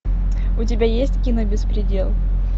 у тебя есть кино беспредел